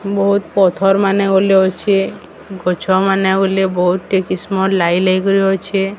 ବୋହୁତ ପଥର ମାନେ ଅଲେ ଅଛେ। ଗଛ ମାନେ ଅଲେ ବୋହୁତଟି କିସମର ଲାଗିଲାଗି କରେ ଅଛେ।